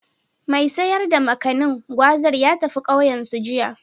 Mai sayar da Makanin/Gwazar ya tafi ƙauyensu, jiya.